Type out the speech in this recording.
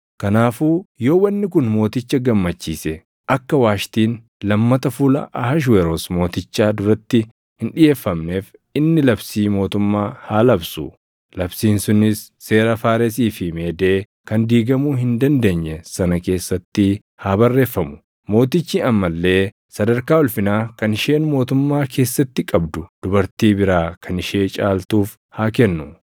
“Kanaafuu yoo wanni kun mooticha gammachiise akka Waashtiin lammata fuula Ahashweroos Mootichaa duratti hin dhiʼeeffamneef inni labsii mootummaa haa labsu; labsiin sunis seera Faaresii fi Meedee kan diigamuu hin dandeenye sana keessatti haa barreeffamu. Mootichi amma illee sadarkaa ulfinaa kan isheen mootummaa keessatti qabdu dubartii biraa kan ishee caaltuuf haa kennu.